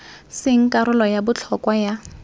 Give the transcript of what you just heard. seng karolo ya botlhokwa ya